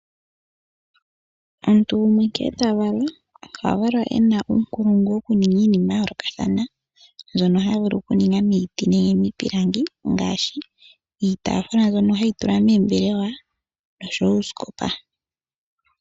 Omuntu gumwe nkee tavalwa ohavalwa ena uunkulungu wokuninga iinima yayoolokathana mbyono tavulu kuninga miti nenge miipilangi, ngaashi iitaafula mbyoka hayi kala meembelewa noshowo uusikopa.